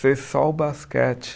Ser só o basquete.